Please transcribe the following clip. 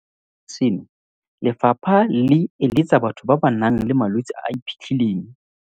Mo godimo ga seno, lefapha le eletsa batho ba ba nang le malwetse a a iphitlhileng